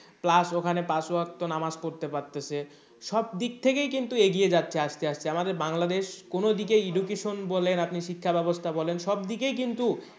Plus ওখানে পাঁচ ওয়াক্ত নামাজ পড়তে পারতাছে সব দিক থেকেই কিন্তু এগিয়ে যাচ্ছে আস্তে আস্তে আমাদের বাংলাদেশ কোন দিকেই education বলেন আপনি শিক্ষা ব্যাবস্থা বলেন সব দিকেই কিন্তু